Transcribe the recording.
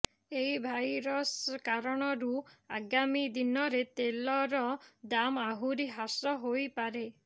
ଏହି ଭାଇରସ୍ କାରଣରୁ ଆଗାମୀ ଦିନରେ ତେଲର ଦାମ ଆହୁରି ହ୍ରାସ ହୋଇପାରେ